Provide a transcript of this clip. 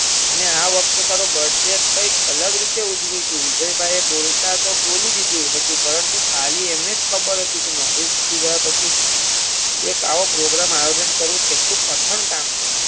અને આવખતે તારો birthday કંઈક અલગ રીતે ઉજવીશું વિજયભાઈએ બોલતા તો બોલીદીધું પરંતુ ખાલી એમણેજ ખબર હતી કે નોકરી છૂટી ગયા પછી એક આવા પોગ્રામ આયોજન કરવું કેટલું કઠણ કામ છે.